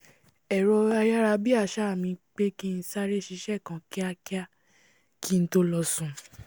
ẹ̀rọ ayárabíàṣá mi pé kí n sáré ṣiṣẹ́ kan kíakiá kí n tó lọ sùn